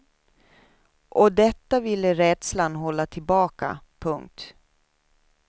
Och detta ville rädslan hålla tillbaka. punkt